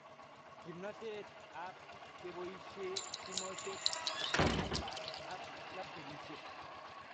Kimnatet ab kepoishe simoshek, Ipad ak laptopishek